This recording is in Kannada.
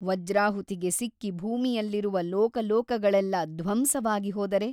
ವಜ್ರಾಹುತಿಗೆ ಸಿಕ್ಕಿ ಭೂಮಿಯಲ್ಲಿರುವ ಲೋಕಲೋಕಗಳೆಲ್ಲ ಧ್ವಂಸವಾಗಿ ಹೋದರೆ?